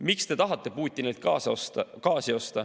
Miks te tahate Putinilt gaasi osta?